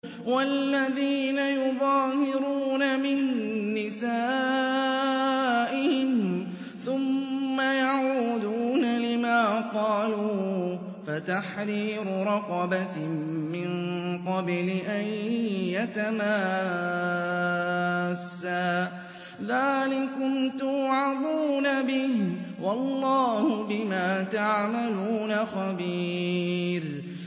وَالَّذِينَ يُظَاهِرُونَ مِن نِّسَائِهِمْ ثُمَّ يَعُودُونَ لِمَا قَالُوا فَتَحْرِيرُ رَقَبَةٍ مِّن قَبْلِ أَن يَتَمَاسَّا ۚ ذَٰلِكُمْ تُوعَظُونَ بِهِ ۚ وَاللَّهُ بِمَا تَعْمَلُونَ خَبِيرٌ